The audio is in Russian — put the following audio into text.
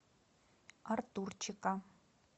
артурчика